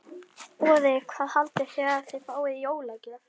Boði: Hvað haldið þið að þið fáið í jólagjöf?